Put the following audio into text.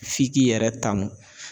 F'i k'i yɛrɛ tanu.